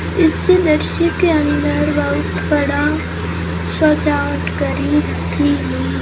इस दृश्य के अंदर बहुत बड़ा सजावट करी की हुई--